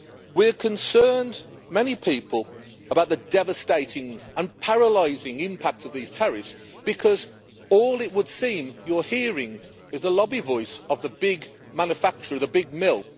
We are concerned many people about the devastating and paralysing impact of these tariffs because all it would seem you're hearing is the lobby voice of the big manufacturer, the big mill.